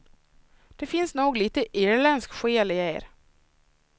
Det finns nog lite irländsk själ i er.